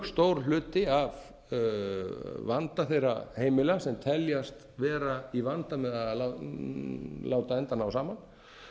stór hluti af vanda þeirra heimila sem teljast vera í vanda með að láta enda ná saman